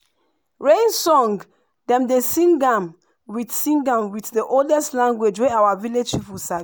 rain song dem dey sing am with sing am with the oldest language wey our village people sabi.